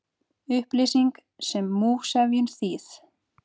Upplýsing sem múgsefjun, þýð.